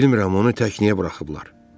Bilmirəm, onu tək niyə buraxıblar.